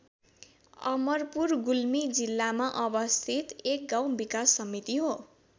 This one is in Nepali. अमरपुर गुल्मी जिल्लामा अवस्थित एक गाउँ विकास समिति हो।